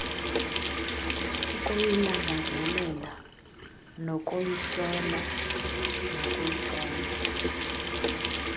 ukuyilangazelela nokuyihlola nokuyiqonda